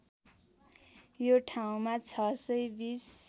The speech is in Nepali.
यो ठाउँमा ६२०